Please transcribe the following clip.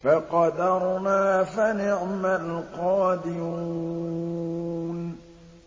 فَقَدَرْنَا فَنِعْمَ الْقَادِرُونَ